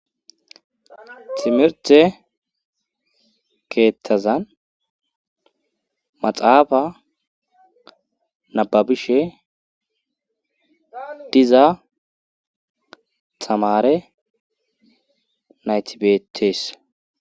timirte keethtazan maxaafa nababishe diza tamare nayti beetees